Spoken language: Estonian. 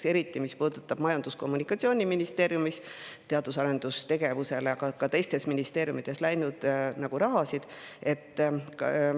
See puudutab eriti näiteks Majandus- ja Kommunikatsiooniministeeriumis, aga ka teistes ministeeriumides teadus-arendustegevusele läinud.